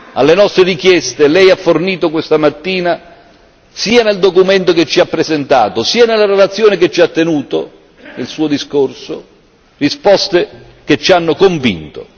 Alle nostre richieste Lei ha fornito questa mattina, sia nel documento che ci ha presentato, sia nella relazione che ci ha tenuto, nel Suo discorso, risposte che ci hanno convinto.